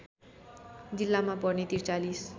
जिल्लामा पर्ने ४३